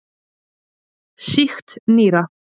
Sýkt nýra.